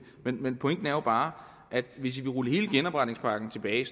vil men pointen er jo bare at hvis vil rulle hele genopretningspakken tilbage